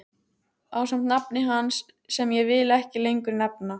Ásamt nafni hans sem ég vil ekki lengur nefna.